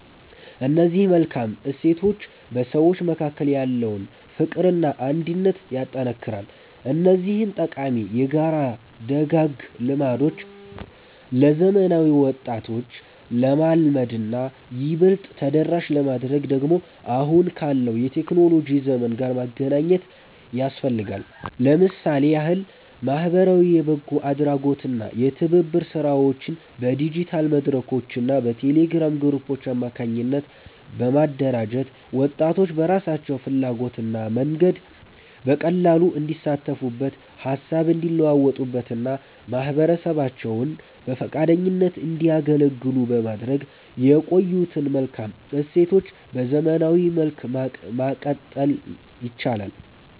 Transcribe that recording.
እነዚህ መልካም እሴቶች በሰዎች መካከል ያለውን ፍቅርና አንድነት ያጠነክራሉ። እነዚህን ጠቃሚ የጋራ ደጋግ ልማዶች ለዘመናዊ ወጣቶች ለማልመድና ይበልጥ ተደራሽ ለማድረግ ደግሞ አሁን ካለው የቴክኖሎጂ ዘመን ጋር ማገናኘት ያስፈልጋል። ለምሳሌ ያህል ማኅበራዊ የበጎ አድራጎትና የትብብር ሥራዎችን በዲጂታል መድረኮችና በቴሌግራም ግሩፖች አማካኝነት በማደራጀት፣ ወጣቶች በራሳቸው ፍላጎትና መንገድ በቀላሉ እንዲሳተፉበት፣ ሃሳብ እንዲለዋወጡበትና ማኅበረሰባቸውን በፈቃደኝነት እንዲያገለግሉ በማድረግ የቆዩትን መልካም እሴቶች በዘመናዊ መልክ ማቀጠል ይቻላል።